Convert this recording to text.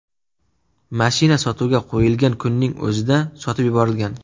Mashina sotuvga qo‘yilgan kunning o‘zida sotib yuborilgan.